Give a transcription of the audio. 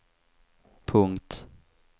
punkt